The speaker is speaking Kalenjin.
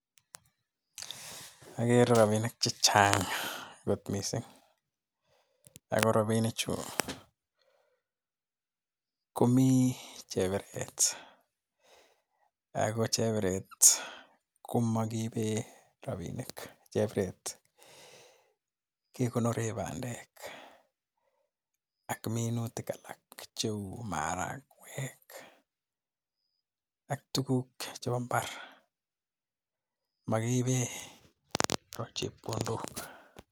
Agere robinik chechang' kot missinga Ako robinichu komii chabiret ako chebiret komokiibe robinik. Chebiret kekonoree bandek ak minutik alak cheu marakwek ak tuguk chebo mbar makiibe chepkondok.